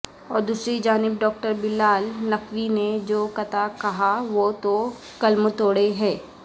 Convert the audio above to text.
اور دوسری جانب ڈاکٹر بلال نقوی نے جو قطع کہا وہ تو قلم توڑہے کہ